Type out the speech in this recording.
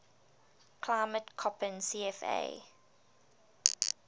climate koppen cfa